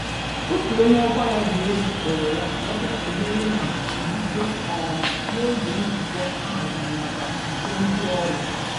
Otú onyé ọkwa ya dị elu kpọrọ ya ka ọ bịa sonyeere na nzuzo, um n'oge nzukọ ahaziri màkà uto ndị ọrụ